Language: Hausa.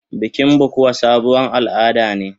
Bikin bukuwa sabon al'ada ne.